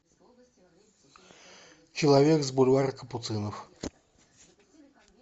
человек с бульвара капуцинов